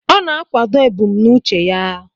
Ọ na-akwado ebumnuche ya.